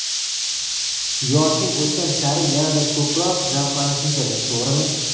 Yoshing o‘tgan sari yanada ko‘proq zavqlanish kerak, to‘g‘rimi?